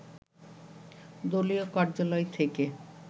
দলীয় কার্যালয় থেকে